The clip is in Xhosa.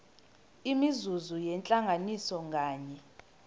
imizuzu yentlanganiso nganye